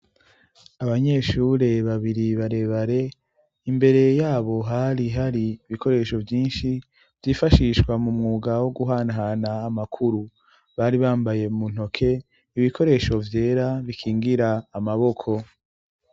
Abanyeshure babiri bare bare imbere yabo hari hari ibikoresho vyinshi vyifashishwa mu mwuga wo guhanahana amakuru bari bambaye mu ntoke ibikoresho vyera bikingira amaboko.